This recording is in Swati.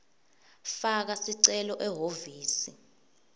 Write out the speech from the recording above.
faka sicelo ehhovisi